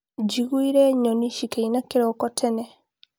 Njiguire nyoni cikĩĩna kĩroko tene.